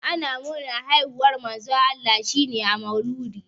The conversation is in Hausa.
Ana murnar haihuwar Manzon Allah ne a maulidi.